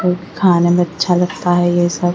खाने में अच्छा लगता है ये सब--